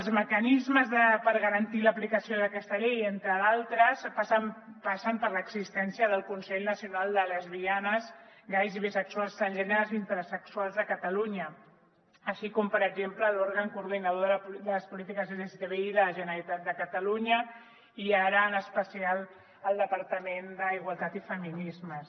els mecanismes per garantir l’aplicació d’aquesta llei entre d’altres passen per l’existència del consell nacional de lesbianes gais bisexuals transgèneres i intersexuals de catalunya així com per exemple l’òrgan coordinador de les polítiques lgtbi de la generalitat de catalunya i ara en especial el departament d’igualtat i feminismes